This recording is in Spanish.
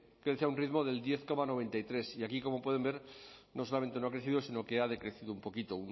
crece a un ritmo del diez coma noventa y tres y aquí como pueden ver no solamente no ha crecido sino que ha decrecido un poquito